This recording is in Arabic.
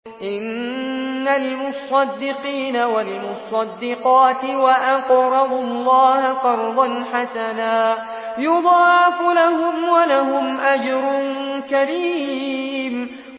إِنَّ الْمُصَّدِّقِينَ وَالْمُصَّدِّقَاتِ وَأَقْرَضُوا اللَّهَ قَرْضًا حَسَنًا يُضَاعَفُ لَهُمْ وَلَهُمْ أَجْرٌ كَرِيمٌ